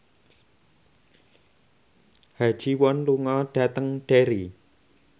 Ha Ji Won lunga dhateng Derry